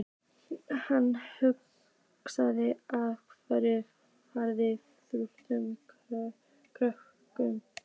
Hann hlaut að hafa farið uppúr körfunni.